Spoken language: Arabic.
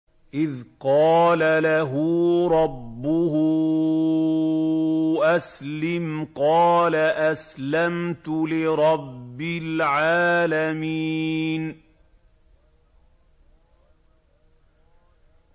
إِذْ قَالَ لَهُ رَبُّهُ أَسْلِمْ ۖ قَالَ أَسْلَمْتُ لِرَبِّ الْعَالَمِينَ